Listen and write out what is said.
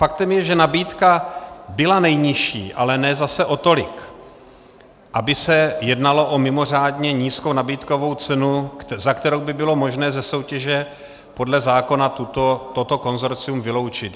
Faktem je, že nabídka byla nejnižší, ale zase ne o tolik, aby se jednalo o mimořádně nízkou nabídkovou cenu, za kterou by bylo možné ze soutěže podle zákona toto konsorcium vyloučit.